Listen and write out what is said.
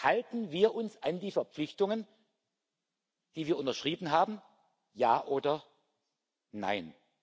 Halten wir uns an die Verpflichtungen, die wir unterschrieben haben, ja oder nein?